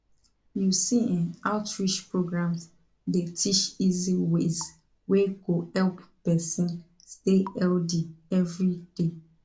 you see[um]outreach programs dey teach easy ways wey go help person stay healthy every day